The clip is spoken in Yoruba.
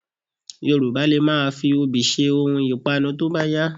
Yorùbá lè máa fi obì ṣe ohun ìpanu tó bá yá